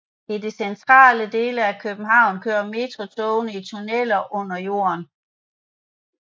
I de centrale dele af København kører metrotogene i tunneler under jorden